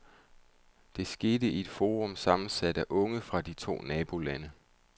Det skete i et forum sammensat af unge fra de to nabolande.